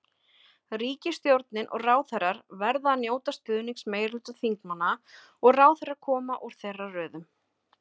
Ríkisstjórnin og ráðherrar verða að njóta stuðnings meirihluta þingmanna og ráðherrar koma úr þeirra röðum.